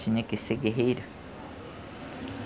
Tinha que ser guerreiro.